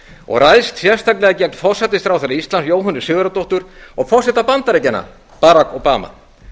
og ræðst sérstaklega gegn forsætisráðherra íslands jóhönnu sigurðardóttur og forseta bandaríkjanna bak obama